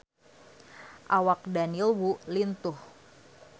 Awak Daniel Wu lintuh